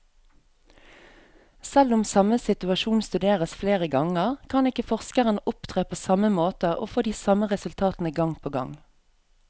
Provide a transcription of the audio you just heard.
Selv om samme situasjon studeres flere ganger, kan ikke forskeren opptre på samme måte og få de samme resultatene gang på gang.